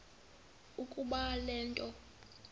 ukuba le nto